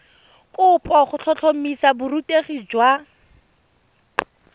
kopo go tlhotlhomisa borutegi jwa